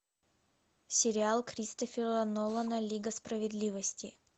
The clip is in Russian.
сериал кристофера нолана лига справедливости